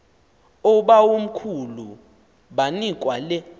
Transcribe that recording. oobawomkhulu banikwa le